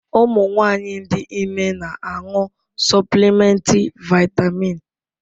Ụmụ nwanyị dị ime na-aṅụ suplimenti vaịtamịn.